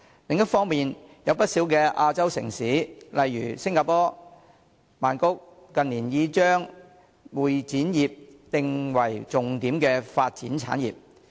另一方面，有不少亞洲城市近年已把會展業定為重點發展產業。